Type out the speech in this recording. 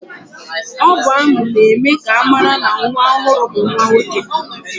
Ọ bụ ámụ̀ na-eme ka amara na nwa ọhụụ bụ nwanwoke.